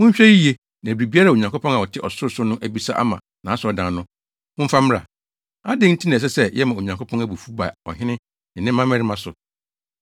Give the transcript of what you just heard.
Monhwɛ yiye, na biribiara a Onyankopɔn a ɔte ɔsorosoro no abisa ama nʼasɔredan no, momfa mmra. Adɛn nti na ɛsɛ sɛ yɛma Onyankopɔn abufuw ba ɔhene ne ne mmabarima so?